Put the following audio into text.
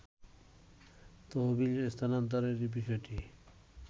তহবিল স্থানান্তরের বিষয়টি